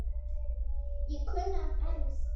Ég kunni að elska.